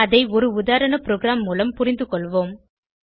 அதை ஒரு உதாரண ப்ரோகிராம் மூலம் புரிந்துகொள்வோம்